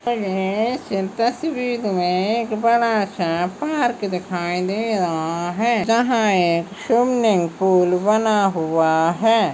इस तस्वीर मे एक बड़ा सा पार्क दिखाई दे रहा है यहाँ एक स्विमिंग पूल बना हुआ है।